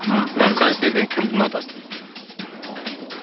басқа әншілерден кімді ұнатасыз дейді